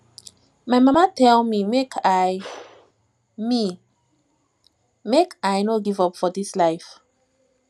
my mama tell me make i me make i no give up for dis my life